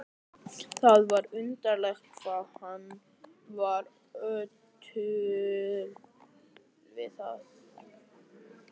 Ingimar Karl Helgason: Hvað finnst þér um svona framkomu?